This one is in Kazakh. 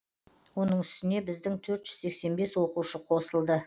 оның үстіне біздің төрт жүз сексен бес оқушы қосылды